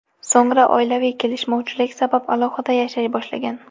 So‘ngra oilaviy kelishmovchilik sabab alohida yashay boshlagan.